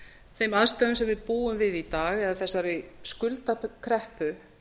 þeim aðstæðum sem við búum við í dag eða þessari skuldakreppu